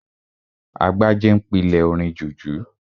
Agbájé n pílè orin jùjú